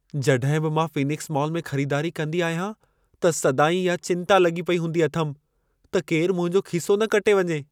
जॾहिं बि मां फ़ीनिक्स मॉल में ख़रीदारी कंदी आहियां त सदाईं इहा चिंता लॻी पेई हूंदी अथमि, त केरु मुंहिंजो खीसो न कटे वञे।